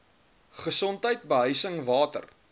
gesondheid behuising water